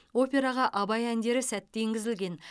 операға абай әндері сәтті енгізілген